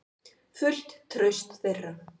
Fullt traust þeirra.